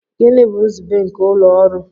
Gịnị bụ nzube nke ụlọ ọrụ?